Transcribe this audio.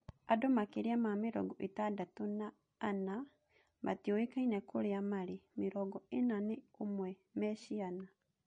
Andũmakĩria ma mĩrongo ĩtandatũna ana matiũĩkaine kũrĩa marĩ, mĩrongo ĩna na ũmwe me ciana.